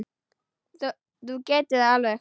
Þú getur það alveg.